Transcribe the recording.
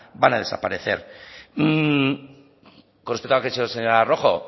van a desaparecer con respecto a lo que ha dicho la señora rojo